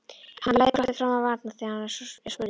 Hann læðir glotti fram á varirnar þegar hann er spurður.